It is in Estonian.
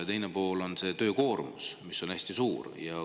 Ja teine pool on töökoormus, mis on hästi suur.